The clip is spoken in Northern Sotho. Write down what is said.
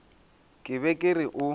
ke be ke re o